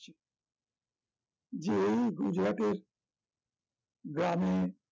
যে এই গুজরাটের গ্রামে